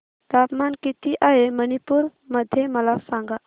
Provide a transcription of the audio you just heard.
तापमान किती आहे मणिपुर मध्ये मला सांगा